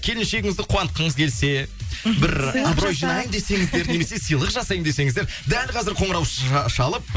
келіншегіңізді қуантқыңыз келсе мхм бір абырой жинаймын десеңіздер немесе сыйлық жасаймын десеңіздер дәл қазір қоңырау шалып